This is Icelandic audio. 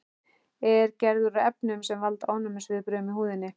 Er gerður úr efnum sem valda ofnæmisviðbrögðum í húðinni.